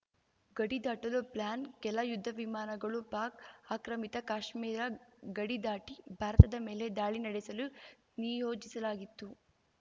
ಗಡಿ ದಾಟಲು ಪ್ಲಾನ್‌ ಕೆಲ ಯುದ್ಧವಿಮಾನಗಳು ಪಾಕ್‌ ಆಕ್ರಮಿತ ಕಾಶ್ಮೀರ ಗಡಿ ದಾಟಿ ಭಾರತದ ಮೇಲೆ ದಾಳಿ ನಡೆಸಲು ನಿಯೋಜಿಸಲಾಗಿತ್ತು